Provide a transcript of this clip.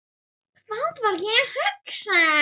Hvað var ég að hugsa?